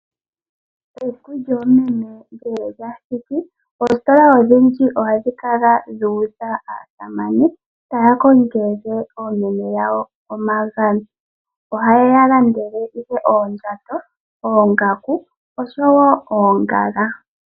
Esiku lyoomeme ngele lyathiki, oositola odhindji ohadhi kala dhuudha aasamane taya kongele oomeme yawo omagano. Ohaye yalandele ihe oondjato, oongaku osho woo oongala.